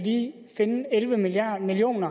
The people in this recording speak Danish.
finde elleve million million